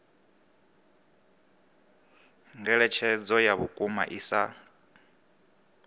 ngeletshedzo ya vhukuma i sa